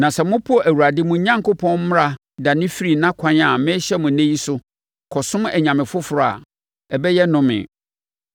Na sɛ mopo Awurade, mo Onyankopɔn mmara dane firi nʼakwan a merehyɛ mo ɛnnɛ yi so, kɔsom anyame foforɔ a, ɛbɛyɛ nnome.